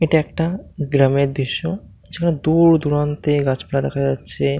এটা একটা গ্রামের দৃশ্য যেখানে দূরদূরান্তে গাছপালা দেখা যাচ্ছে ।